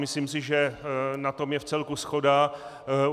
Myslím si, že na tom je vcelku shoda.